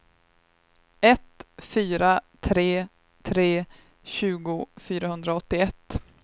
ett fyra tre tre tjugo fyrahundraåttioett